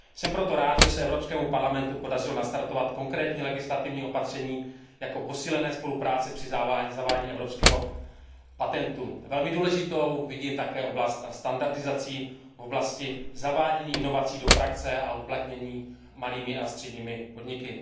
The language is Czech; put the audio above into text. Jsem proto rád, že se Evropskému parlamentu podařilo nastartovat konkrétní legislativní opatření, jako je posílená spolupráce při zavádění evropského patentu. Jako velmi důležitou vidím také oblast standardizace při zavádění inovací do praxe a jejich uplatnění malými a středními podniky.